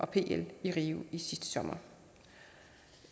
pl i rio sidste sommer